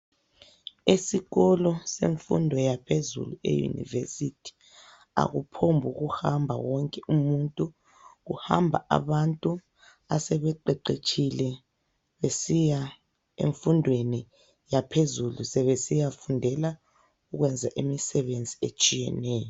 Esikolo semfundo yaphezulu eUniversity ,akuphombukuhamba wonke umuntu. Kuhamba abantu asebeqeqetshile besiya emfundweni yaphezulu sebesiya fundela ukwenza imisebenzi etshiyeneyo.